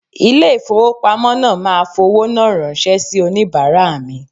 Ilé ìfowópamọ́ náà máa fowó náà ránṣẹ́ sì onìbàárà mi.